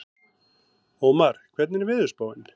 Ómar, hvernig er veðurspáin?